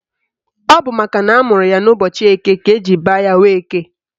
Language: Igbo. Ọ bụ makana amụrụ ya n'ụbọchị Eke ka eji baa ya Nweke